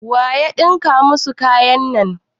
Waya ɗinka muku kayan nan?